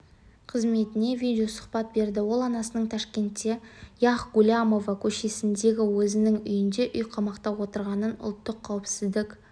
қызметіне видео-сұхбат берді ол анасының ташкентте яхь гулямова көшесіндегі өзінің үйінде үйқамақта отырғанын ұлттық қауіпсіздік